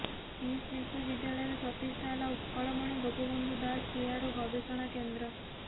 କିସ୍ ବିଶ୍ୱବିଦ୍ୟାଳୟରରେ ପ୍ରତିଷ୍ଠା ହେଲା ଉତ୍କଳମଣି ଗୋପବନ୍ଧୁ ଦାସ ଚେୟାର ଓ ଗବେଷଣା କେନ୍ଦ୍ର